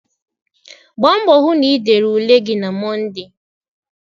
Gbaa mbọ hụ na ị dere ule gị na Mọnde!